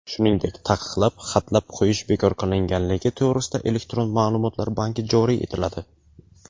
shuningdek taqiqlab (xatlab) qo‘yish bekor qilinganligi to‘g‘risidagi elektron maʼlumotlar banki joriy etiladi.